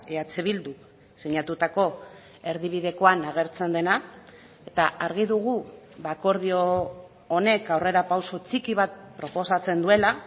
eh bilduk sinatutako erdibidekoan agertzen dena eta argi dugu akordio honek aurrerapauso txiki bat proposatzen duela